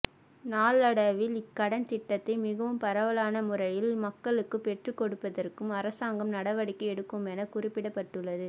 நாளடைவில் இக்கடன் திட்டத்தை மிகவும் பரவலான முறையில் மக்களுக்குப் பெற்றுக் கொடுப்பதற்கும் அரசாங்கம் நடவடிக்கை எடுக்குமென குறிப்பிடப்பட்டுள்ளது